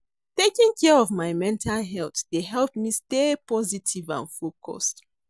Taking care of my mental health dey help me stay positive and focused.